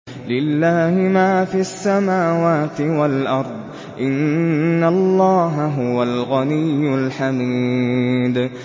لِلَّهِ مَا فِي السَّمَاوَاتِ وَالْأَرْضِ ۚ إِنَّ اللَّهَ هُوَ الْغَنِيُّ الْحَمِيدُ